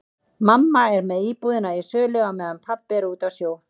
Mamma er með íbúðina í sölu á meðan pabbi er úti á sjó.